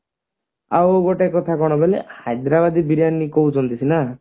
ଆଉ ଗୋଟେ କଥା କଣ ବୋଇଲେ ହାଇଦ୍ରାବାଦୀ ବିରିୟାନୀ କହୁଛନ୍ତି ସିନା